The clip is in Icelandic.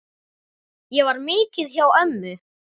Ég var mikið hjá ömmu.